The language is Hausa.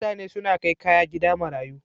Mutane suna kai kaya gida marayu.